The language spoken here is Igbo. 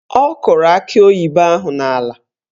Ọ kụrụ akị oyibo ahụ n'ala